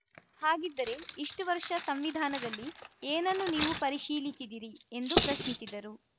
ಹಾಗಿದ್ದರೆ ಇಷ್ಟುವರ್ಷ ಸಂವಿಧಾನದಲ್ಲಿ ಏನನ್ನು ನೀವು ಪರಿಶೀಲಿಸಿದಿರಿ ಎಂದು ಪ್ರಶ್ನಿಸಿದರು